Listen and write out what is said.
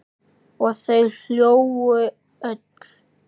Og þau hlógu öll.